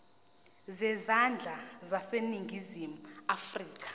zezandla zaseningizimu afrika